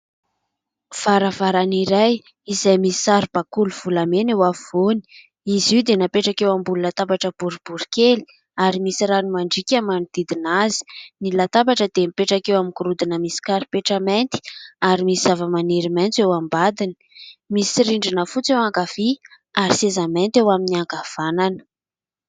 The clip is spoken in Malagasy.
Varavarana iray izay misy saribakoly volamena eo afovoany. Izy io dia napetraka eo ambony latabatra boribory kely ary misy rano mandriaka manodidina azy. Ny latabatra dia mipetraka eo amin'ny gorodona misy karipetra mainty ary misy zava-maniry maitso eo ambadiny. Misy rindrina fotsy eo ankavia ary seza mainty eo amin'ny ankavanana.